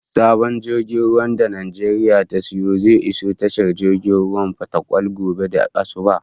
Sabon jirgin ruwan da Najeriya ta sayo zai iso tashar jirgin ruwan Fatakwal gobe da asubah